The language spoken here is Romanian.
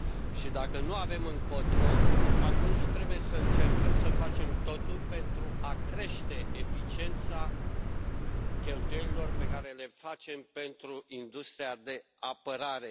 Și, dacă nu avem încotro, atunci trebuie să încercăm să facem totul pentru a crește eficiența cheltuielilor pe care le facem pentru industria de apărare.